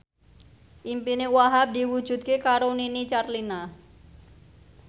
impine Wahhab diwujudke karo Nini Carlina